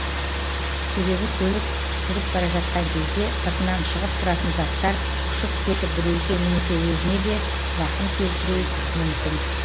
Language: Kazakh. себебі көлік жүріп бара жатқан кезде сыртынан шығып тұратын заттар ұшып кетіп біреуге немесе өзіне де зақым келтіру мүмкін